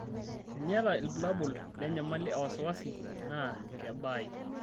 Teniata ilbulabul lenyamali e wasiwasi naa kebaayu.